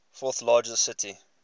fourth largest city